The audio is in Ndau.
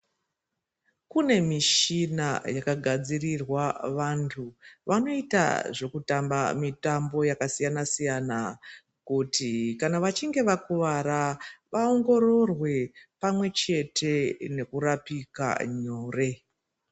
Kune mushina wakagadzirirwa vantu vanoita zvekutamba mitambo yakasiyana siyana kuti kana vachinge vakuwara vaongororwe pamwe chete nekurapika Nyore.